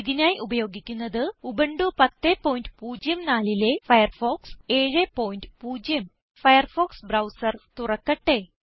ഇതിനായി ഉപയോഗിക്കുന്നത് ഉബുന്റു 1004ലെ ഫയർഫോക്സ് 70 ഫയർഫോക്സ് ബ്രൌസർ തുറക്കട്ടെ